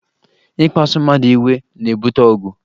Ịkpasụ mmadụ iwe na-ebute ọgụ